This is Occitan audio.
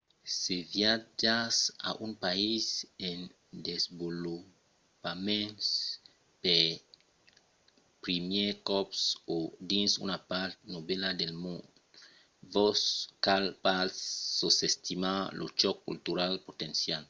se viatjatz a un país en desvolopament pel primièr còp – o dins una part novèla del mond – vos cal pas sosestimar lo chòc cultural potencial